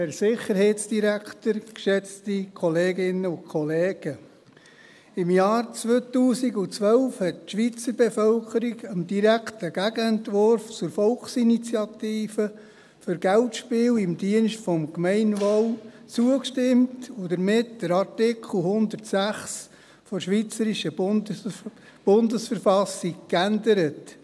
der SiK. Im Jahr 2012 hat die Schweizer Bevölkerung dem direkten Gegenentwurf zur Volksinitiative «Für Geldspiele im Dienste des Gemeinwohls» zugestimmt und damit den Artikel 106 der Bundesverfassung der Schweizerischen Eidgenossen- schaft (BV) geändert.